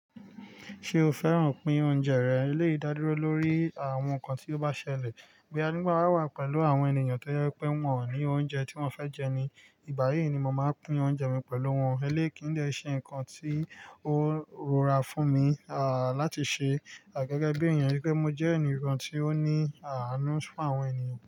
Ṣé o fẹ́ràn pín oúnjẹ rẹ? Eleyi dádu ro lọ́rí àwọn nkan tí ó bá ṣẹlẹ̀. Boya nígbà wa wà pẹ̀lú àwọn ènìyàn tó jẹ pé wọn ò ni oúnjẹ tí wọ́n fẹ́ jẹ ni, ìgbà yí ni mo máa pín oúnjẹ mi pẹ̀lú wọn. Ẹ̀ lé kí n dè ṣe nkan tí ó rọra fún mi, à láti ṣe, à gẹ́gẹ́ bí èèyàn. Gẹ́gẹ́ mo jẹ́ ènìyàn tí ó ní àanu fún àwọn ènìyàn.